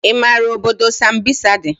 I maara obodo sambisa dị?